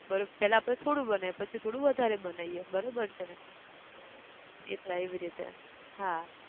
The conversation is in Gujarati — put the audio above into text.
બરોબ પહેલા આપણે થોડું બનાયીએ પછી થોડું વધારે બનાયીએ, બરોબર છે ને, એટલા એવી રીતે, હા